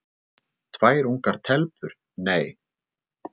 Tvær ungar telpur: Nei!